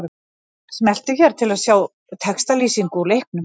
Smelltu hér til að sjá textalýsingu úr leiknum